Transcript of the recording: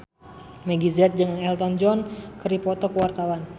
Meggie Z jeung Elton John keur dipoto ku wartawan